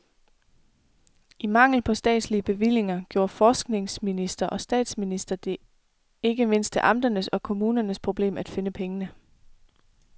I mangel på statslige bevillinger gjorde forskningsminister og statsminister det ikke mindst til amternes og kommunernes problem at finde pengene.